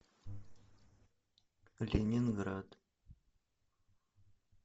ленинград